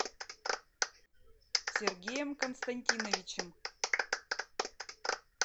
сергеем константиновичем